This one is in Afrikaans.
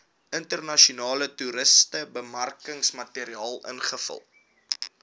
internasionale toerismebemarkingsmateriaal invul